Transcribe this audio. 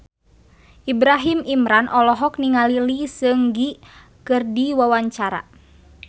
Ibrahim Imran olohok ningali Lee Seung Gi keur diwawancara